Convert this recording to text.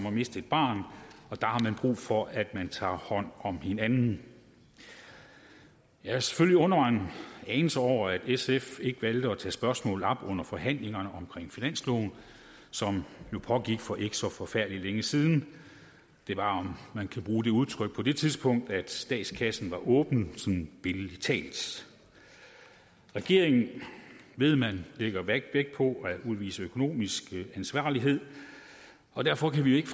at miste et barn der har man brug for at man tager hånd om hinanden jeg har selvfølgelig undret mig en anelse over at sf ikke valgte at tage spørgsmålet op under forhandlingerne om finansloven som jo pågik for ikke så forfærdelig længe siden det var om man kan bruge det udtryk på det tidspunkt at statskassen var åben sådan billedlig talt regeringen ved man lægger vægt på at udvise økonomisk ansvarlighed og derfor kan vi ikke